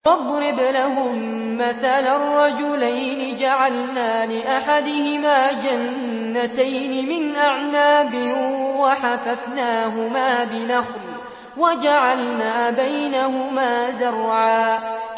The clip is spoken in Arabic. ۞ وَاضْرِبْ لَهُم مَّثَلًا رَّجُلَيْنِ جَعَلْنَا لِأَحَدِهِمَا جَنَّتَيْنِ مِنْ أَعْنَابٍ وَحَفَفْنَاهُمَا بِنَخْلٍ وَجَعَلْنَا بَيْنَهُمَا زَرْعًا